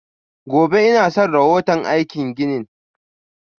Gobe inason rahoto aikin ginin.